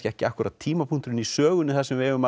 ekki akkúrat tímapunkturinn í sögunni þar sem við eigum að